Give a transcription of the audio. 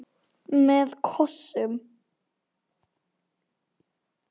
Með kossum.